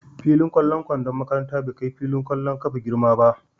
Fillin ƙwallon kwandon makaranta bai kai filin ƙwallon ƙafa girma ba.